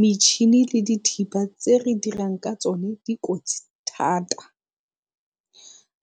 Metšhini le dithipa tse re dirang ka tsone ke dikotsi thata.